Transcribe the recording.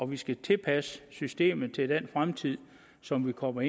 vi skal tilpasse systemet til den fremtid som kommer